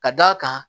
Ka d'a kan